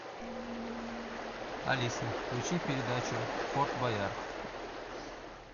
алиса включи передачу форт боярд